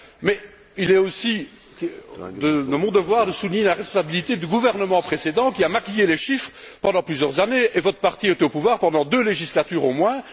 Mais il est aussi de mon devoir de souligner la responsabilité du gouvernement précédent qui a maquillé les chiffres pendant plusieurs années, et votre parti était au pouvoir pendant deux législatures au moins.